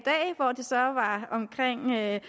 med at